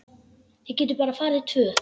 Við getum bara farið tvö.